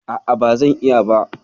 A'a, ba zan iya ba.